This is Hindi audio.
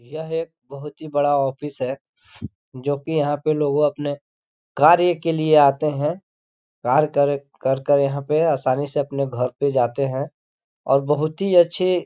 यह एक बहुत ही बड़ा ऑफिस है जो कि यहाँ पे लोग अपनें कार्य के लिए आते है कार कर कर कर यहाँ पे आसानी से अपनें घर पे जाते हैं और बहुत ही अच्छे --